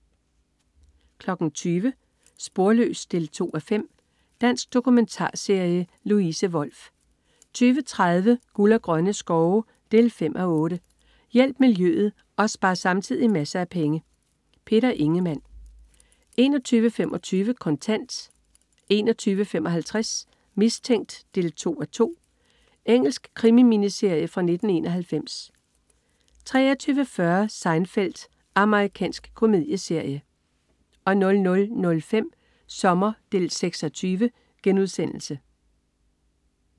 20.00 Sporløs 2:5. Dansk dokumentarserie. Louise Wolff 20.30 Guld og grønne skove 5:8. Hjælp miljøet og spar samtidig masser af penge. Peter Ingemann 21.25 Kontant 21.55 Mistænkt 2:2. Engelsk krimi-miniserie fra 1991 23.40 Seinfeld. Amerikansk komedieserie 00.05 Sommer 6:20*